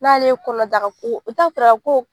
N' ale ye kɔnɔdaka ko